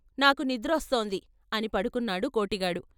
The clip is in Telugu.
"నాకు నిద్రోస్తోంది " అని పడు కున్నాడు కోటిగాడు.